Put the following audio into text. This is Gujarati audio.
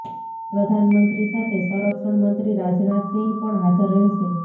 પ્રધાનમંત્રી સાથે સંરક્ષણ મંત્રી રાજનાથ સિંહ પણ હાજર રહેશે